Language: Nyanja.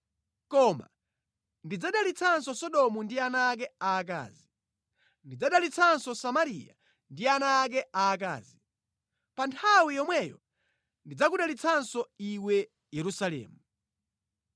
“ ‘Koma, ndidzadalitsanso Sodomu ndi ana ake aakazi. Ndidzadalitsanso Samariya ndi ana ake aakazi. Pa nthawi yomweyo ndidzakudalitsanso iwe Yerusalemu.